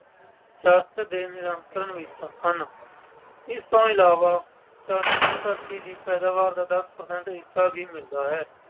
Church ਦੇ ਨਿਯੰਤਰਣ ਵਿੱਚ ਸਨ। ਇਸ ਤੋਂ ਇਲਾਵਾ ਚਰਚ ਨੂੰ ਧਰਤੀ ਦੀ ਪੈਦਾਵਾਰ ਦਾ ਦੱਸ percent ਹਿੱਸਾ ਵੀ ਮਿਲਦਾ ਹੈ।